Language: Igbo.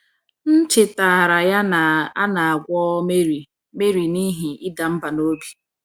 “ M chetaara ya na a na - agwọ Mary Mary n’ihi ịda mbà n’obi.